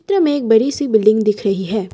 चित्र में एक बड़ी सी बिल्डिंग दिख रही है।